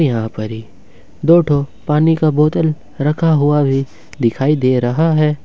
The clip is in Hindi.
यहां पर ही दो ठो पानी का बोतल रखा हुआ भी दिखाई दे रहा है।